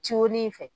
Ciw de fɛ